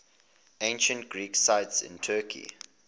ancient greek sites in turkey